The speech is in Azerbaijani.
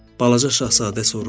Balaca Şahzadə soruşdu.